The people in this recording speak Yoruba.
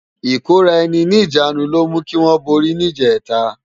Ikóráèni ni ijânú ló mú kiwòn bóri ni ijètá